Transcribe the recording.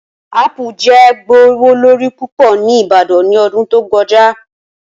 Apu jẹ gbowolori pupọ ni ibadan ni ọdun to kọja.